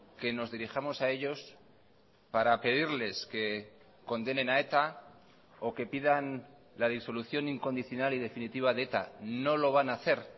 que nos dirijamos a ellos para pedirles que condenen a eta o que pidan la disolución incondicional y definitiva de eta no lo van a hacer